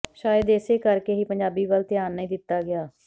ਸ਼ਾਇਦ ਇਸੇ ਕਰਕੇ ਹੀ ਪੰਜਾਬੀ ਵੱਲ ਧਿਆਨ ਨਹੀਂ ਦਿੱਤਾ ਗਿਆ